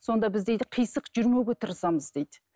сонда біз дейді қисық жүрмеуге тырысамыз дейді